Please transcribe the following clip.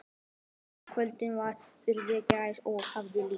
Himinninn yfir þessu maíkvöldi var furðu grár og hafið líka.